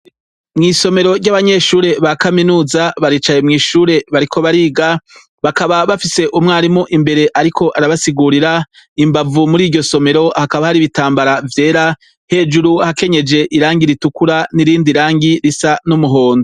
Mw'isomero ry'abanyeshure ba kaminuza, baricaye mw'ishure bariko bariga, bakaba bafise umwarimu imbere ariko arabasigurira, imbavu muri iryo somero hakaba hari ibitambara vyera, hejuru hakenyeje irangi ritukura n'irindi rangi risa n'umuhondo.